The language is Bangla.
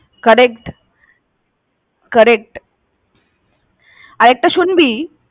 Correct, correct । আর একটা শুনবি?